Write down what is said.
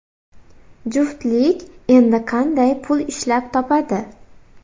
Juftlik endi qanday pul ishlab topadi?